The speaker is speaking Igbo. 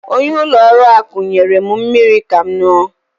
Onye ulo oru akụ nyerem mmiri Kam nnu